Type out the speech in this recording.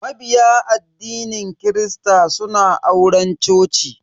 Mabiya addinin kirista suna auren coci.